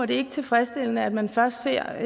det er ikke tilfredsstillende at man først ser